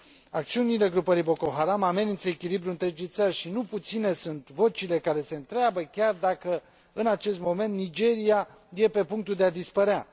Acțiunile grupării Boko Haram amenință echilibrul întregii țări și nu puține sunt vocile care se întreabă chiar dacă, în acest moment, Nigeria nu este pe punctul de a dispărea.